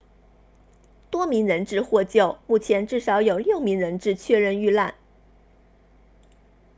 多名人质获救目前至少有六名人质确认遇难